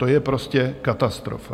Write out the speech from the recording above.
To je prostě katastrofa.